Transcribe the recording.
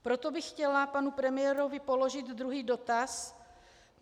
Proto bych chtěla panu premiérovi položit druhý dotaz.